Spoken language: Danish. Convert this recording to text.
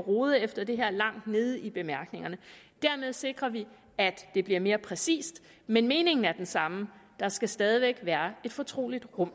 rode efter det her langt nede i bemærkningerne dermed sikrer vi at det bliver mere præcist men meningen er den samme der skal stadig væk være et fortroligt rum